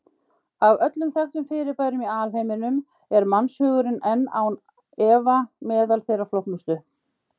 Af öllum þekktum fyrirbærum í alheiminum er mannshugurinn án efa meðal þeirra flóknustu.